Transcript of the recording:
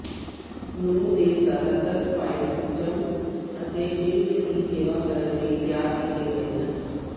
ਨੂੰ ਦੇ ਜ਼ਿਆਦਾਤਰ ਫਾਇਲ ਸਿਸਟਮ ਅਤੇ ਡਿਸਕ ਦੀ ਸੇਵਾ ਕਰਨ ਲਈ ਤਿਆਰ ਕੀਤੇ ਗਏ ਹਨ